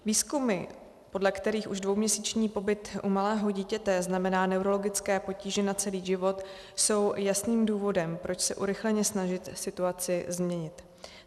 Výzkumy, podle kterých už dvouměsíční pobyt u malého dítěte znamená neurologické potíže na celý život, jsou jasným důvodem, proč se urychleně snažit situaci změnit.